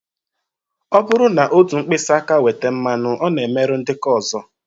Ọ bụrụ na otu mkpịsị aka weta mmanụ, ọ na-emerụ ndị nke ọzọ